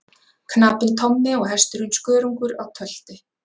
Knapinn Tommi og hesturinn Skörungur á tölti.